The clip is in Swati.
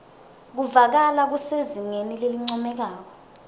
kuvakala kusezingeni lelincomekako